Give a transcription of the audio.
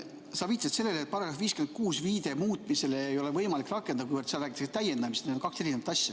Sa viitasid sellele, et § 56 järgi muutmist ei ole võimalik rakendada, kuivõrd sa rääkisid täiendamisest ja need on kaks eri asja.